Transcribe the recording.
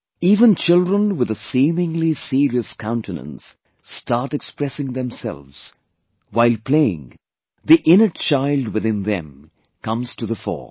Even children with a seemingly serious countenance start expressing themselves; while playing, the innate child within them comes to the fore